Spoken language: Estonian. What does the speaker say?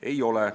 Ei ole.